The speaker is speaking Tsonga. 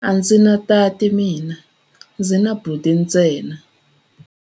A ndzi na tati mina, ndzi na buti ntsena.